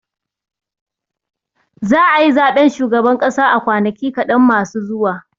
Za a yi zaɓen shugaban ƙasa a kwanaki kaɗan masu zuwa.